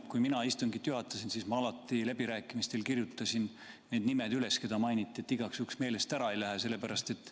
Kui mina istungit juhatasin, siis ma alati läbirääkimistel kirjutasin need nimed üles, keda mainiti, et igaks juhuks meelest ära ei lähe, sellepärast et ...